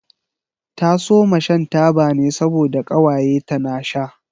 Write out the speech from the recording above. Ta soma shan taba ne saboda ƙawaye ta na sha.